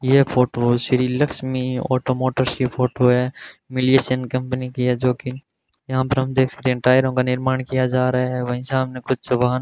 यह photo Shri Lakshmi automotors की photo है मीलिएशन कंपनी कि है जोकि यहां पर हम देख सकते हैं टायरों का निर्माण किया जा रहा है वहीं सामने कुछ जवान --